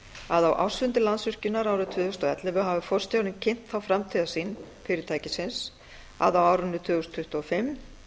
að á ársfundi landsvirkjunar árið tvö þúsund og ellefu hafi forstjórinn kynnt þá framtíðarsýn fyrirtækisins að á árinu tvö þúsund tuttugu og fimm